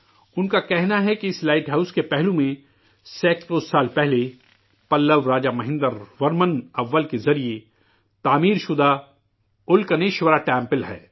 ان کا کہنا ہے کہ اس لائٹ ہاؤس کے بغل میں سینکڑوں برس پہلے، پلو راجا مہیندر ورمن اول کے ذریعہ بنایا گیا 'الکنیشورمندر' ہے